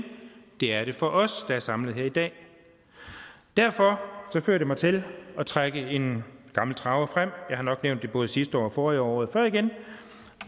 det er det for os der er samlet her i dag derfor fører det mig til at trække en gammel traver frem jeg har nok nævnt det både sidste år og forrige år og året før igen